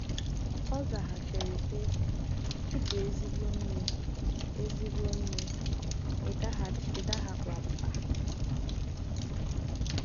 ọ zaghachiri, sị: “ Ị bụ ezigbo nne, ezigbo nne, ị daghịkwa mbà.